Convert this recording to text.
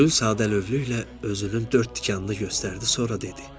Gül sadəlövhlüklə özünün dörd tikanını göstərdi, sonra dedi: